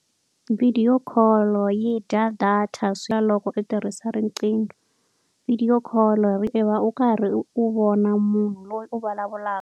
Vhidiyo call-o yi dya data loko u tirhisa riqingho vhidiyo call-o u karhi u vona munhu loyi u vulavulaka.